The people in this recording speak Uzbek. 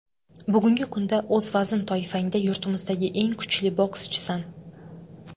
Bugungi kunda o‘z vazn toifangda yurtimizdagi eng kuchli bokschisan.